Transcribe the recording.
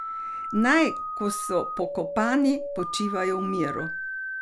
Naj, ko so pokopani, počivajo v miru.